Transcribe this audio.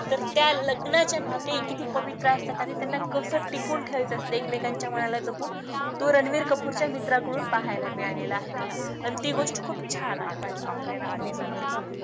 तर त्या लग्नाचे नाते किती पवित्र असतात आणि त्यांना कसं टिकवून ठेवायचं असतं ऐकमेकांच्या मनाला जपून तो रणबीर कपुरच्या मित्राकडून पाहायला मिळालेलं आहे मला आणि ती गोष्ट खूप छान आहे वाटली मला या movie मध्ये